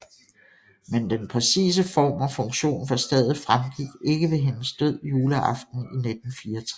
Men den præcise form og funktion for stedet fremgik ikke ved hendes død juleaften i 1964